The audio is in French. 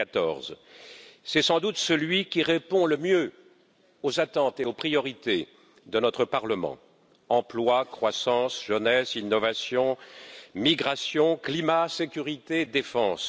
2014. C'est sans doute celui qui répond le mieux aux attentes et aux priorités de notre Parlement emploi, croissance, jeunesse, innovation, migration, climat, sécurité, défense.